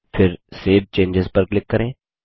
फिर सेव चेंजों पर क्लिक करें